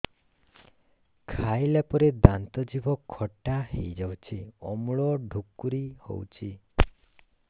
ଖାଇଲା ପରେ ଦାନ୍ତ ଜିଭ ଖଟା ହେଇଯାଉଛି ଅମ୍ଳ ଡ଼ୁକରି ହଉଛି